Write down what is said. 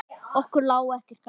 Okkur lá ekkert á.